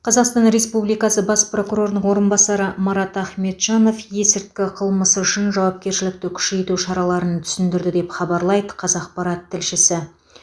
қазақстан республикасы бас прокурорының орынбасары марат ахметжанов есірткі қылмысы үшін жауапкершілікті күшейту шараларын түсіндірді деп хабарлайды қазақпарат тілшісі